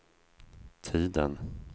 tiden